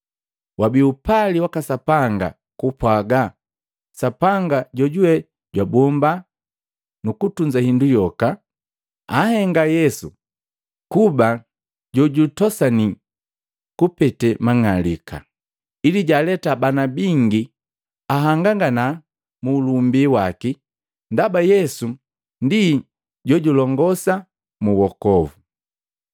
Wabii upali waka Sapanga kupwaga Sapanga, jojuwe jwabomba nukutunza hindu yoka, anhenga Yesu kuba jojutosani kupete mang'alika, ili jwaaleta bana bingi ahangangana mu ulumbi waki. Ndaba Yesu ndi jojulongosa mu wokovu.